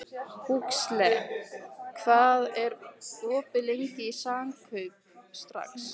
Huxley, hvað er opið lengi í Samkaup Strax?